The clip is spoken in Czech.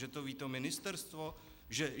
Že to ví to ministerstvo.